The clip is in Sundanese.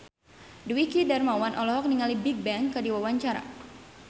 Dwiki Darmawan olohok ningali Bigbang keur diwawancara